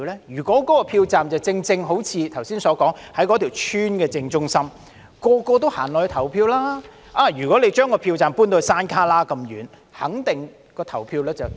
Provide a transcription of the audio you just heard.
如果一個票站的位置，正正好像剛才所說的，在一個屋邨的正中央，人人也會前往投票，如果把票站搬至山旯旮那麼遠，投票率肯定低。